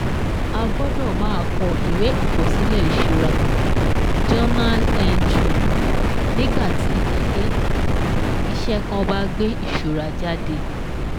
A gbọ́dọ̀ máa kọ ìwé àkọsílẹ ìṣura (journal entry) nígbàtí ilé-iṣẹ́ kàn bá gbé ìṣura jáde